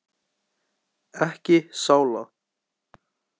Ekki sála.